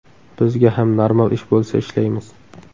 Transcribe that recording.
Bizga ham normal ish bo‘lsa ishlaymiz.